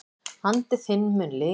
Andi þinn mun lifa alla tíð.